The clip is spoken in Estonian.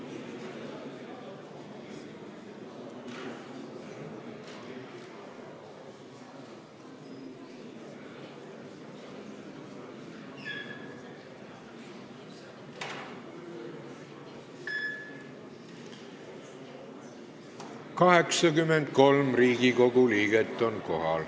Kohaloleku kontroll 83 Riigikogu liiget on kohal.